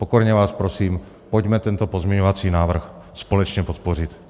Pokorně vás prosím, pojďme tento pozměňovací návrh společně podpořit.